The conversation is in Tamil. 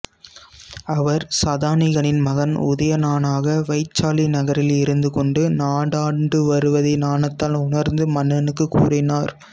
அவர் சதானிகனின் மகன் உதயணனாக வைசாலி நகரில் இருந்துகொண்டு நாடாண்டுவருவதை ஞானத்தால் உணர்ந்து மன்னனுக்குக் கூறினார்